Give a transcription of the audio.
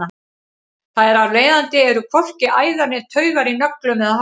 þar af leiðandi eru hvorki æðar né taugar í nöglum eða hári